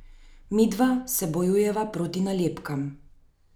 Midva se bojujeva proti nalepkam.